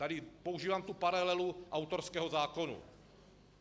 Tady používám tu paralelu autorského zákona.